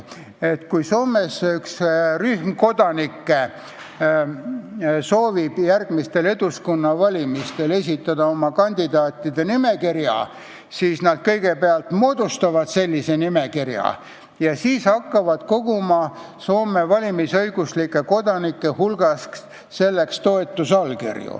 Kui Soomes rühm kodanikke soovib järgmistele Eduskunna valimistele esitada oma kandidaatide nimekirja, siis nad kõigepealt moodustavad selle nimekirja ja siis hakkavad koguma Soome valimisõiguslike kodanike toetusallkirju.